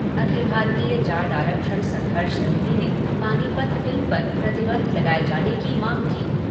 अखिल भारतीय जाट आरक्षण संघर्ष समिति ने पानीपत फ़िल्म पर प्रतिबंध लगाये जाने की मांग की।